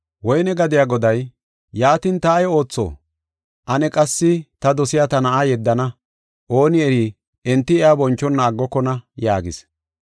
“Woyne gadiya goday, ‘Yaatin ta ay ootho? Ane qassi ta dosiya ta na7a yeddana; ooni eri enti iya bonchona aggokona’ yaagis.